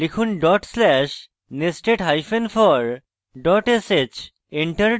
লিখুন dot slash nested hyphen for dot sh